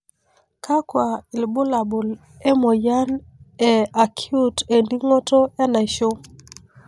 kakua ilbulabul emoyian e Acute eningoto enaisho?